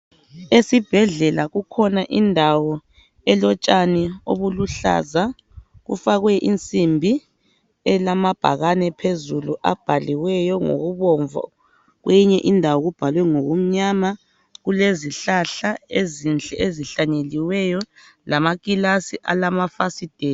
Esibhedlela kukhona indawo elotshani obuluhlaza, kufakwe insimbi elababhakane phezulu abhaliweyo ngokubomvu kweyinye indawo kubhalwe ngokumnyama. Kulezihlahla ezinhle ezihlanyeliweyo lamakilasi alamafasitela.